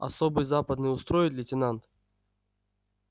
особый западный устроит лейтенант